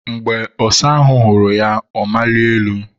Mgbe ọsa ahụ hụrụ ya, ọ maliri elu.